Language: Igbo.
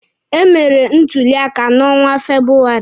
E mere ntuli aka na onwa Febụwarị.